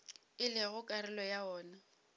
e lego karolo ya wona